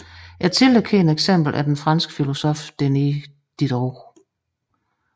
Et tidligt kendt eksempel er den franske filosof Denis Diderot